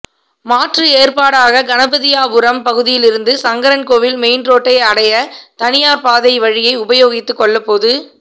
மாற்று ஏற்பாடாக கணபதியாபுரம் பகுதியிலிருந்து சங்கரன் கோயில் மெயின் ரோட்டை அடைய தனியார் பாதை வழியை உபயோகித்து கொள்ள பொது